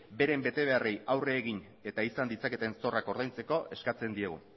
beren betebeharrei aurre egin eta izan ditzaketen zorrak ordaintzeko eskatzen diogu